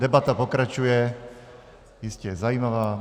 Debata pokračuje, je jistě zajímavá.